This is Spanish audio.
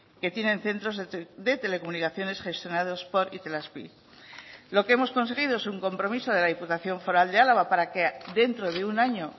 que tienen centros de telecomunicaciones gestionados por itelazpi lo que hemos conseguido es un compromiso de la diputación foral de álava para que dentro de un año